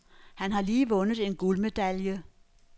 Han har lige vundet en guldmedalje.